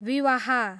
विवाह